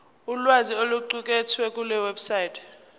ulwazi oluqukethwe kulewebsite